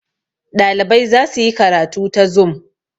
ɗalibai za su yi karatu ta zum